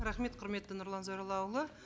рахмет құрметті нұрлан зайроллаұлы